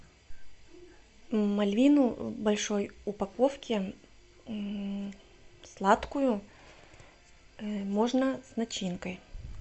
мальвину в большой упаковке сладкую можно с начинкой